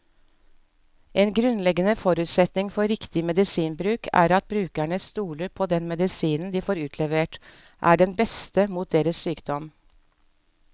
En grunnleggende forutsetning for riktig medisinbruk er at brukerne stoler på at den medisinen de får utlevert, er den beste mot deres sykdom.